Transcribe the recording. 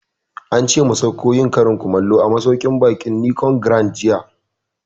Ance mu sauko yin karin kumallo a masauƙin baƙin Nicon Grand jiya